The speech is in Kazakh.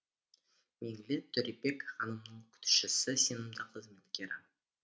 меңлі төребек ханымның күтушісі сенімді қызметкері